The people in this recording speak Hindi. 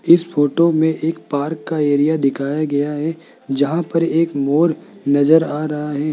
इस फोटो में एक पार्क का एरिया दिखाया गया है जहां पर एक मोर नजर आ रहा है।